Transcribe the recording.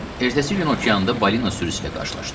Ertəsi gün okeanda balina sürüsü ilə qarşılaşdıq.